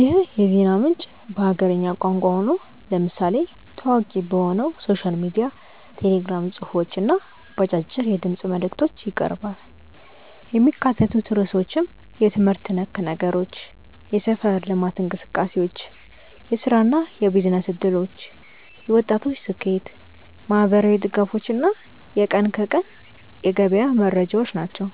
ይህ የዜና ምንጭ በሀገርኛ ቋንቋ ሆኖ፣ ለምሳሌ ታዋቂ በሆነው ሶሻል ሚዲያ ቴሌግራም ጽሑፎች እና በአጫጭር የድምፅ መልዕክቶች ይቀርባል። የሚካተቱት ርዕሶችም የትምህርት ነክ ነገሮች፣ የሰፈር ልማት እንቅሰቃሴዎች፣ የሥራና የቢዝነስ ዕድሎች፣ የወጣቶች ስኬት፣ ማኅበራዊ ድጋፎች እና የቀን ከቀን የገበያ መረጃዎች ናቸው።